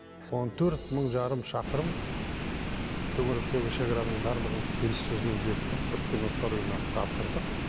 он төрт мың жарым шақырым төңіректегі шекараның барлығын келіссөзбен бекітіп біріккен ұлттар ұйымына тапсырдық